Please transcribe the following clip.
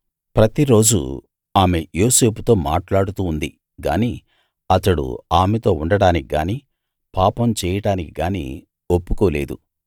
ప్రతిరోజూ ఆమె యోసేపుతో మాట్లాడుతూ ఉంది గానీ అతడు ఆమెతో ఉండడానికి గానీ పాపం చేయడానికి గానీ ఒప్పుకోలేదు